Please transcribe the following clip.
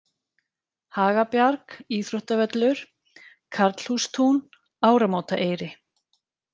Hagabjarg, Íþróttavöllur, Karlhústún, Áramótaeyri